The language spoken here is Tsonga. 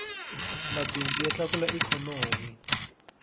mabindzu ya tlakula ikhonomi